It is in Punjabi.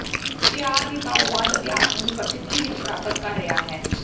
ਪਿਆਰ ਦੀ ਤਾਓਵਾਦ ਅਭਿਆਸ ਨੂੰ ਵੀ ਪ੍ਰਸਿੱਧੀ ਵਿੱਚ ਪ੍ਰਾਪਤ ਕਰ ਰਿਹਾ ਹੈ